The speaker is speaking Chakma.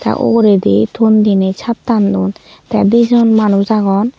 te ugoredy ton deney satan duon te dejon manus agon.